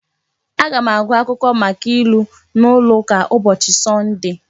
Aga m agụ akwụkwọ maka ilu n'ụlọ ụka ụbọchị Sọnde